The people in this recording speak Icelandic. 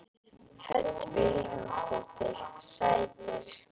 Hödd Vilhjálmsdóttir: Sætir?